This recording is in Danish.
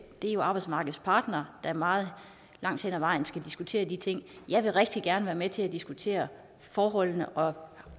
det er jo arbejdsmarkedets parter der meget langt hen ad vejen skal diskutere de ting jeg vil rigtig gerne være med til at diskutere forholdene og